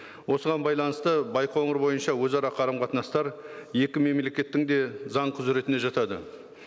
осыған байланысты байқоңыр бойынша өзара қарым қатынастар екі мемлекеттің де заң құзыретіне жатады